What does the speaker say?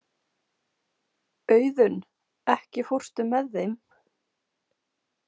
Auðunn, ekki fórstu með þeim?